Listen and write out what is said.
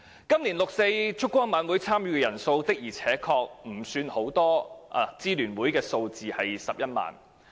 今年參與六四燭光晚會的人數確實不算多，而根據支聯會的數字是11萬人。